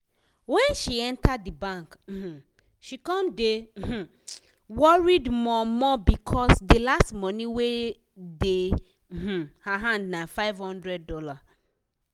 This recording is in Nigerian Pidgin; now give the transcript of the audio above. wen she enter di bank um she come dey um worried more-more becos di last money wey dey um her hand na $500.